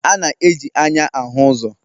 A na-eji anya ahụ uzo